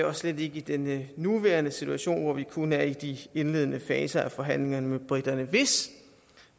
og slet ikke i den nuværende situation hvor vi kun er i de indledende faser af forhandlingerne med briterne hvis